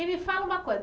E me fala uma coisa.